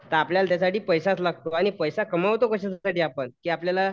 का आपल्याला त्यासाठी पैसाच लागतो आणि पैसा कमवतो कशासाठी आपण की आपल्याला